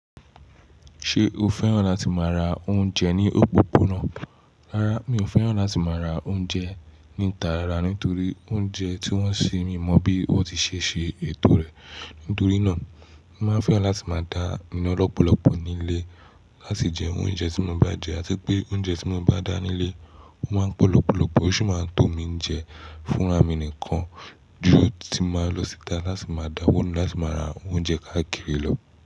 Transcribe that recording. Ṣé o fẹ́ràn láti máa ra oúnjẹ ní òpópónà? Rárá, mi ò fẹ́ràn láti máa ra oúnjẹ ní ta rárá nítorí oúnjẹ tí wọ́n ń ṣe mi mọ̀ bí wọ́n tí ṣe ṣe ètò rẹ̀. Nítorí náà, mo máa ń fẹ́ràn láti máa dá ina lọ́pọ̀lọpọ̀ nílé láti jẹ oúnjẹ tí mo bá jẹ àti pé oúnjẹ tí mo bá dá nílé ó máa ń pọ̀ lọ́pọ̀lọpọ̀ ó sì máa tó mi jẹ fúnra mi nìkan ju tí mo máa lọ síta láti máa dáwọ́ nu láti máa ra oúnjẹ káàkiri lọ.